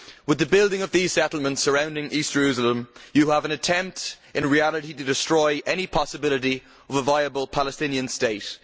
With the building of these settlements surrounding East Jerusalem, you have an attempt in reality to destroy any possibility of a viable Palestinian state.